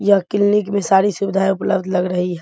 यह क्लीनिक में सारी सुविधाएं उपलब्ध लग रही है।